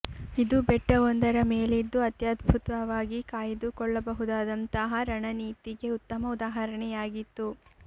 ಇದು ಬೆಟ್ಟವೊಂದರ ಮೇಲಿದ್ದು ಅತ್ಯದ್ಭುತವಾಗಿ ಕಾಯ್ದುಕೊಳ್ಳಬಹುದಾದಂತಹ ರಣ ನೀತಿಗೆ ಉತ್ತಮ ಉದಾಹರಣೆಯಾಗಿತ್ತು